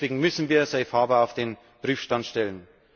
Deswegen müssen wir safe harbour auf den Prüfstand stellen.